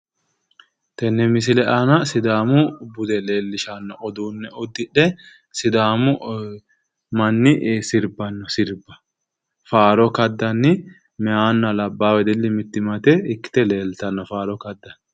Tenne misile aana sidaamu bude leellishanno uduunne uddidhe sidaamu manni sirbanno sirbba faaro kaddanni mayihunna labbaahu mittimmate ikkite leeltanno faaro kaddanni.